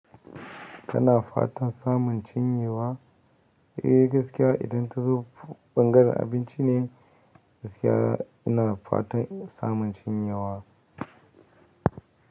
Kana fatan samun cinyewa? Eh gaskiya idan ta zo bangaren abinci ne gaskiya ina fatan samun cinyewa.